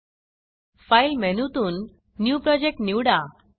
file file मेनूतून new Projectन्यू project निवडा